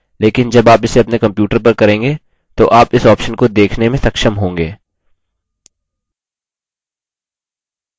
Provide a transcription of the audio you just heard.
अभी आप इसे screen पर नहीं देख सकते हैं लेकिन जब आप इसे अपने computer पर करेंगे तो आप इस option को देखने में सक्षम होंगे